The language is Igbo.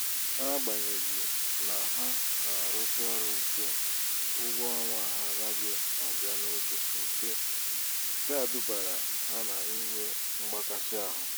n'agbanyeghị na ha na-arụsi ọrụ íke ụgwọ ọnwa ha anaghị abia n'oge nke a dubara ha n' inwe mgbakasị ahụ.